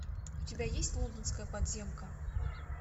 у тебя есть лондонская подземка